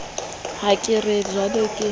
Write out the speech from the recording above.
ha ke re jwale ke